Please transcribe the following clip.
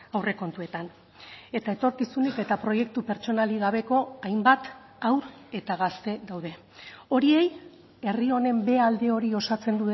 aurrekontuetan eta etorkizunik eta proiektu pertsonalik gabeko hainbat haur eta gazte daude horiei herri honen b alde hori osatzen